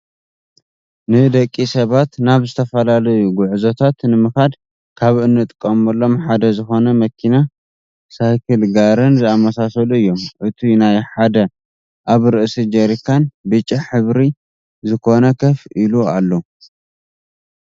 ንደቂ ሰባት ናብ ዝተፈላለዩ ጎዕዞታት ንምካድ ካብ ዝጥቀምሎም ሓደ ዝኮነ መኪና ሳይክል ጋርን ዝኣመሳሰሉ እዮም። እቱይ ሓደ ኣብ ርእሲ ጀሪካን ብጫ ሕብሪ ዝኮነ ከፍ ኢሉ ኣሎ።